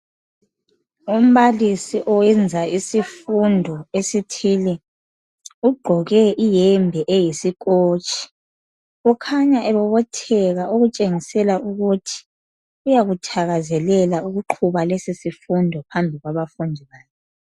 Umbalisi oyenza isifundo esithile. Ugqoke iyembe eyisikhotshi. Ukhanya ebobotheka ukutshengisela ukuthi uyakuthakazelela ukuqhuba lesi sifundo phambi kwabafundi bakhe.